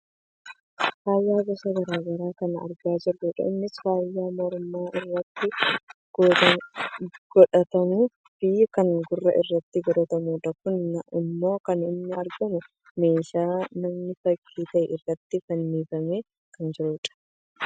Faaya gosa gara garaa kan argaa jirrudha. Innis faaya morma irratti godhatamuu fi kan gurra irratti godhatamudha. Kun ammoo kan inni argamu meeshaa nam fakkii ta'e irratti fannifamee kan jirudha.